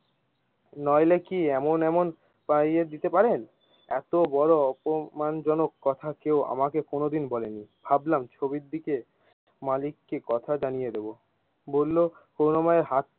নইলে কি এমন এমন পাইয়ে দিতে পারেন। এতো বোরো অপমান জনক কথা কেউ আমাকে কোনো দিন বলেনি ভাবলাম ছবির দিকে মালিক কে কথা জানিয়ে দিবো। বললো করুনা ময় হাত।